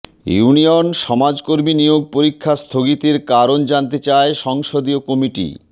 union সমাজকর্মী নিয়োগ পরীক্ষা স্থগিতের কারণ জানতে চায় সংসদীয় কমিটি